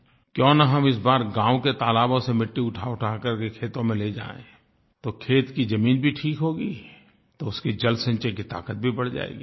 क्यों न हम इस बार गाँव के तालाबों से मिट्टी उठाउठा करके खेतों में ले जाएँ तो खेत की ज़मीन भी ठीक होगी तो उसकी जलसंचय की ताकत भी बढ़ जायेगी